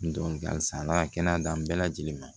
halisa ala ka kɛnɛya d'an bɛɛ lajɛlen ma